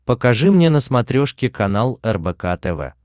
покажи мне на смотрешке канал рбк тв